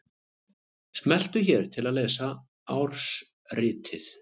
Smelltu hér til að lesa ársritið